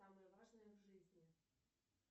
самое важное в жизни